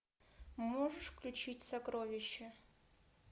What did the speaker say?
можешь включить сокровище